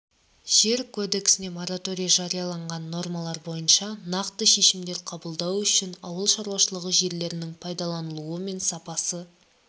жер кодексінде мораторий жарияланған нормалар бойынша нақты шешімдер қабылдау үшін ауыл шаруашылығы жерлерінің пайдаланылуы мен сапасы